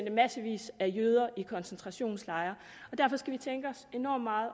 at massevis af jøder blev i koncentrationslejre og derfor skal vi tænke enormt meget